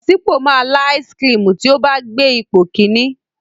Bọ̀sípò máa lá áísiì kirìmì tí ó bá gbé ipò kìíní.